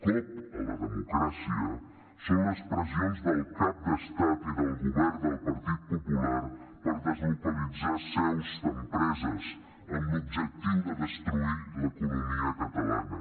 cop a la democràcia són les pressions del cap d’estat i del govern del partit popular per deslocalitzar seus d’empreses amb l’objectiu de destruir l’economia catalana